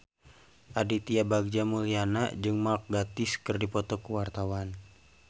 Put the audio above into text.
Aditya Bagja Mulyana jeung Mark Gatiss keur dipoto ku wartawan